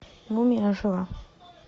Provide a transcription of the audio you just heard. мумия ожила